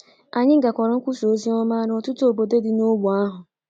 Anyị gakọrọ nkwusa ozioma n’ọtụtụ obodo dị n’ógbè ahụ.